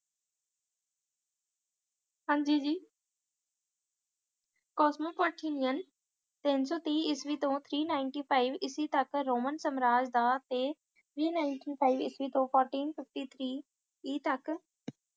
ਹਾਂ ਜੀ ਜੀ ਕੋਸਮੋਪੋਲਟੀਨੀਅਨ ਤਿੰਨ ਸੌ ਤੀਹ ਤੋਂ three ninety five ਇਸਵੀਂ ਤੱਕ ਰੋਮਨ ਸਮਰਾਜ ਦਾ three ninety five ਤੋਂ fourteen fifty three e ਤੱਕ